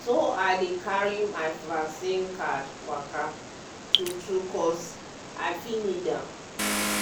e go save you from you from serious sickness like flu.